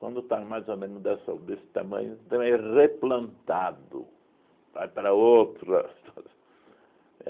Quando está mais ou menos dessa desse tamanho, também é replantado, vai para outra.